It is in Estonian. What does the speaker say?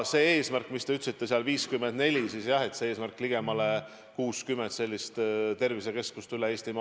See eesmärk, mis te ütlesite, et 54 – jah, on see eesmärk, ligemale 60 sellist tervisekeskust üle Eestimaa.